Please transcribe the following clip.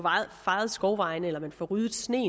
fejet skovvejene eller får ryddet sne